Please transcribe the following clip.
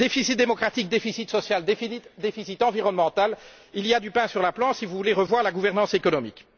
Déficit démocratique, déficit social, déficit environnemental il y a du pain sur la planche si vous voulez revoir la gouvernance économique!